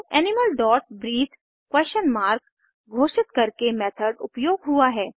animal dot breathe question mark घोषित करके method उपयोग हुआ है